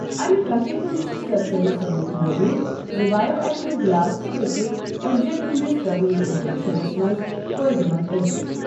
امہِ کتھِ ہُنٛد چھُ سرسٔری ثٔبوٗت موجود زِ بایو ایٚکٹِو گلاس تہِ ہیٚکہِ أڈجن ہِنٛدِس طویل اِنفیٚکشنس منٛز فٲیدٕ منٛد ٲسِتھ۔ ۔